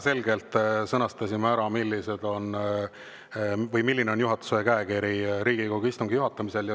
Me sõnastasime väga selgelt ära, milline on juhatuse käekiri Riigikogu istungi juhatamisel.